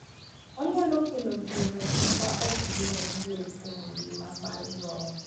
Onyalo kelo geno ma ok gin adier kuom ngima mar joot,